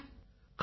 கடவுளே